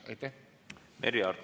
Aitäh!